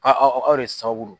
Aaa aw de sababudo.